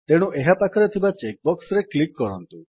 ତେଣୁ ଏହା ପାଖରେ ଥିବା ଚେକ୍ ବକ୍ସରେ କ୍ଲିକ୍ କରନ୍ତୁ